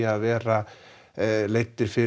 að vera leiddir fyrir